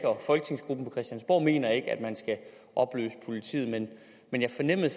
mener at man skal opløse politiet men jeg fornemmede